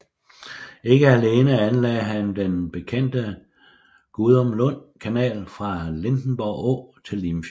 Ikke alene anlagde han den bekendte Gudumlund Kanal fra Lindenborg Å til Limfjorden